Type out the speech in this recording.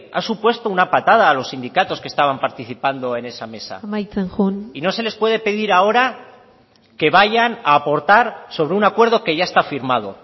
ha supuesto una patada a los sindicatos que estaban participando en esa mesa amaitzen joan y no se les puede pedir ahora que vayan a aportar sobre un acuerdo que ya está firmado